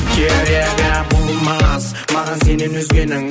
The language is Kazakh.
керегі болмас маған сенен өзгенің